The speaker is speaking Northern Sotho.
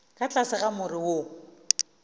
ka tlase ga more wo